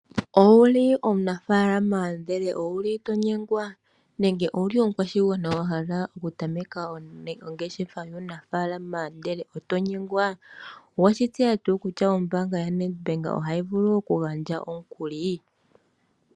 Ou li omunafaalama ndele ou li to nyengwa nenge ou li omukwashigwana wa hala okutameka ongeshefa yuunafaalama, ndele oto nyengwa? Owe shi tseya tuu kutya ombaanga yoNedBank ohayi vulu okugandja omukuli?